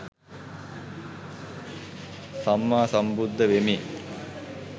සම්මා සම්බුද්ධ වෙමි.